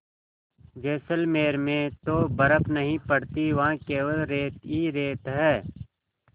जैसलमेर में तो बर्फ़ नहीं पड़ती वहाँ केवल रेत ही रेत है